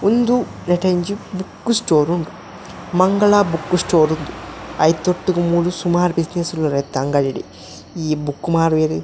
ಉಂದು ನೆಟೊಂಜಿ book store ಉಂಡು ಮಂಗಳ ಬುಕ್ಕ್ ಸ್ಟೋರ್ ಇಂದ್ ಐತೊಟ್ಟುಗು ಮೂಲು ಸುಮಾರ್ ಬ್ಯುಸಿನೆಸ್ಸ್ ಪೂರ ಇತ್ತ ಅಂಗಡಿಡ್ ಈ ಬುಕ್ಕ್ ಮಾರುವೆರ್.